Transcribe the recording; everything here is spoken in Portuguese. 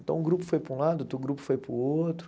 Então, um grupo foi para um lado, outro grupo foi para o outro.